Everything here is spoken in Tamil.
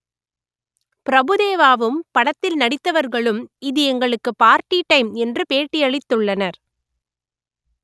பிரபுதேவாவும் படத்தில் நடித்தவர்களும் இது எங்களுக்கு பார்ட்டி டைம் என்று பேட்டியளித்துள்ளனர்